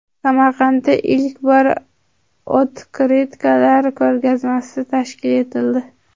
Samarqandda ilk bor otkritkalar ko‘rgazmasi tashkil etildi .